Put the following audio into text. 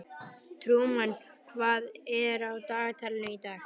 Trúmann, hvað er á dagatalinu í dag?